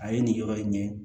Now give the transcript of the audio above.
A ye nin yɔrɔ in ɲɛ